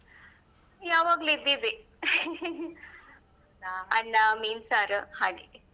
ಯಾವಾಗ್ಲು ಇದ್ದಿದ್ದೆ mean sir ಹಾಗೆ.